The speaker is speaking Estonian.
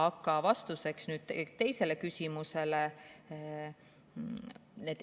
Aga vastus teisele küsimusele.